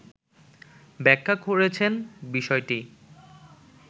ব্যাখা করেছেন বিষয়টি